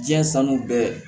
Diɲɛ sanu bɛɛ